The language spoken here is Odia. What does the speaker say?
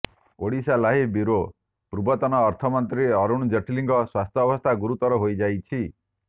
ଓଡ଼ିଶାଲାଇଭ୍ ବ୍ୟୁରୋ ପୂର୍ବତନ ଅର୍ଥମନ୍ତ୍ରୀ ଅରୁଣ ଜେଟ୍ଲୀଙ୍କ ସ୍ୱାସ୍ଥ୍ୟବସ୍ଥା ଗରୁତର ହୋଇଯାଇଛି